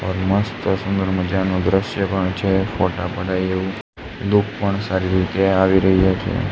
મસ્ત સુંદર મજાનુ દ્રશ્ય પણ છે ફોટા પડાઈ એવુ ધૂપ પણ સારી રીતે આવી રહી છે.